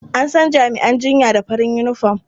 An san jami'an jinya da farin yunifom.